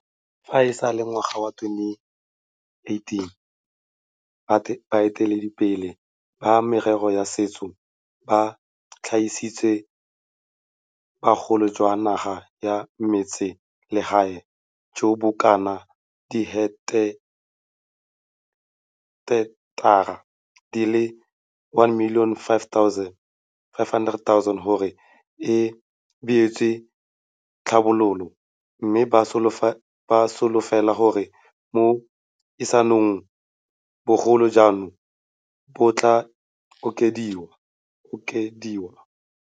Fa e sale ngwaga wa 2018, baeteledipele ba merero ya setso ba tlhagisitse bogolo jwa naga ya metsese legae jo bo kanaka diheketara di le 1 500 000 gore e beetswe tlhabologo, mme ba solofela gore mo isagong bogolo jono bo tla okediwa.